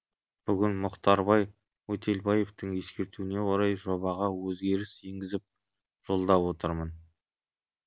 бүгін мұхтарбай өтелбаевтың ескертуіне орай жобаға өзгеріс енгізіп жолдап отырмын